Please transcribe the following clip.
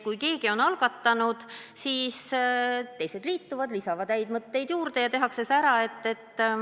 Kui keegi on midagi algatanud, siis teised liituvad, lisavad häid mõtteid juurde ja see tehakse ära.